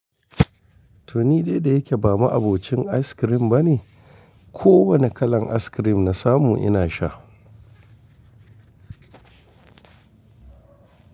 Toni dai da yake bama abokin ayis krim bane, kowane kalan ayis krim na samu ina sha.